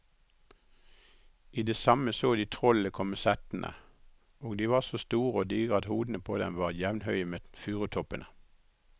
I det samme så de trollene komme settende, og de var så store og digre at hodene på dem var jevnhøye med furutoppene.